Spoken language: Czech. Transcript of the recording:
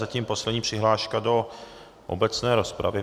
Zatím poslední přihláška do obecné rozpravy.